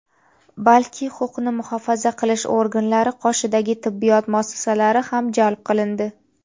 balki huquqni muhofaza qilish organlari qoshidagi tibbiyot muassasalari ham jalb qilindi.